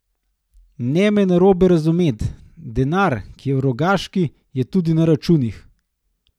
Ne me narobe razumeti, denar, ki je v Rogaški, je tudi na računih.